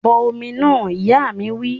Bọ omi náà! Ìyá mi wí